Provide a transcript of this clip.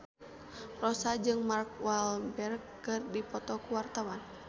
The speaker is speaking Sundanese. Rossa jeung Mark Walberg keur dipoto ku wartawan